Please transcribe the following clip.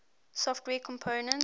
software components